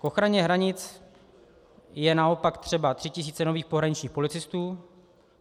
K ochraně hranic je naopak třeba tří tisíc nových pohraničních policistů.